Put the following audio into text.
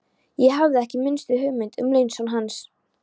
Ég hafði ekki minnstu hugmynd um launson hans.